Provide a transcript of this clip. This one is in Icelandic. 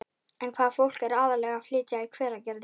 En hvaða fólk er aðallega að flytja í Hveragerði?